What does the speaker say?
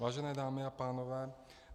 Vážené dámy a pánové.